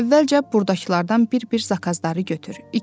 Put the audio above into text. Əvvəlcə burdakılardan bir-bir zakazları götür.